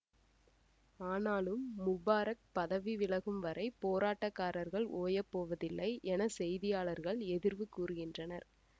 ஆனாலும் முபாரக் பதவி விலகும் வரை போராட்டக்காரர்கள் ஓயப்போவதில்லை என செய்தியாளர்கள் எதிர்வு கூறுகின்றனர்